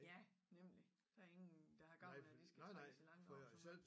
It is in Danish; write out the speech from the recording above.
Ja nemlig der ingen der har gavn af det skal trækkes i langdrag så meget